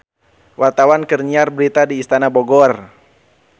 Wartawan keur nyiar berita di Istana Bogor